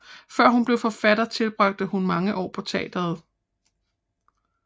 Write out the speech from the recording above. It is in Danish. Før hun blev forfatter tilbragte hun mange år på teatret